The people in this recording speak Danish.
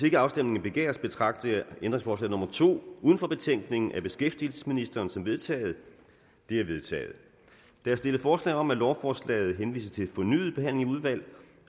ikke afstemning begæres betragter jeg ændringsforslag nummer to uden for betænkningen af beskæftigelsesministeren som vedtaget det er vedtaget der er stillet forslag om at lovforslaget henvises til fornyet behandling i udvalget